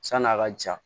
San'a ka ja